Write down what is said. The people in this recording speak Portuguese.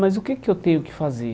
Mas o que é que eu tenho que fazer?